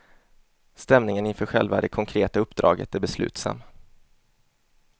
Stämningen inför själva det konkreta uppdraget är beslutsam.